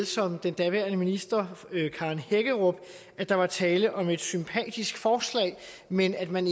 som den daværende minister karen hækkerup at der var tale om et sympatisk forslag men at man